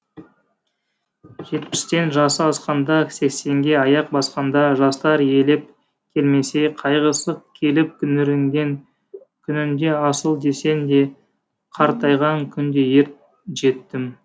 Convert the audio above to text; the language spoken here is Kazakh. жетпістен жасы асқанда сексенге аяқ басқанда жастар елеп келмесе қайғысы келіп күңіренген күнінде асыл десең де қартайған күнде ер жетім